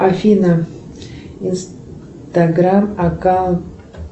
афина инстаграм аккаунт